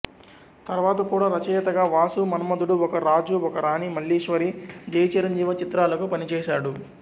తర్వాత కూడా రచయితగా వాసు మన్మథుడు ఒక రాజు ఒక రాణి మల్లీశ్వరి జై చిరంజీవ చిత్రాలకు పనిచేశాడు